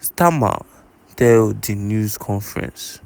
starmer tell di news conference.